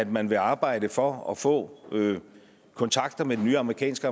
man vil arbejde for at få kontakter med den nye amerikanske